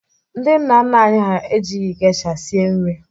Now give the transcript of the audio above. Ndị nna nna anyi ha ejighị geisha sie nri.